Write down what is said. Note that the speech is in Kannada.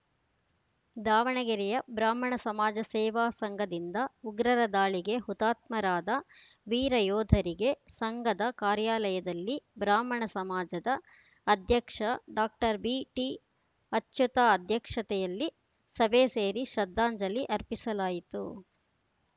ದಾವಣಗೆರೆಯ ಬ್ರಾಹ್ಮಣ ಸಮಾಜ ಸೇವಾ ಸಂಘದಿಂದ ಉಗ್ರರ ದಾಳಿಗೆ ಹುತಾತ್ಮರಾದ ವೀರ ಯೋಧರಿಗೆ ಸಂಘದ ಕಾರ್ಯಾಲಯದಲ್ಲಿ ಬ್ರಾಹ್ಮಣ ಸಮಾಜದ ಅಧ್ಯಕ್ಷ ಡಾಕ್ಟರ್ ಬಿಟಿಅಚ್ಯುತ ಅಧ್ಯಕ್ಷತೆಯಲ್ಲಿ ಸಭೆ ಸೇರಿ ಶ್ರದ್ಧಾಂಜಲಿ ಅರ್ಪಿಸಲಾಯಿತು